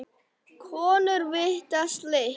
Konur vita slíkt.